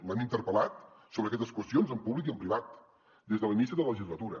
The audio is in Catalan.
l’hem interpel·lat sobre aquestes qüestions en públic i en privat des de l’inici de la legislatura